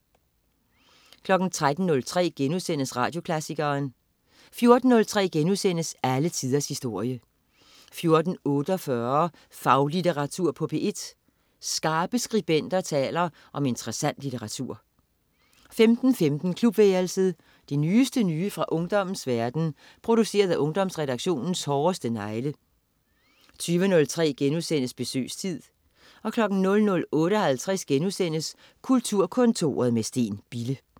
13.03 Radioklassikeren* 14.03 Alle tiders historie* 14.48 Faglitteratur på P1. Skarpe skribenter taler om interessant litteratur 15.15 Klubværelset. Det nyeste nye fra ungdommens verden, produceret af Ungdomsredaktionens hårdeste negle 20.03 Besøgstid* 00.58 Kulturkontoret med Steen Bille*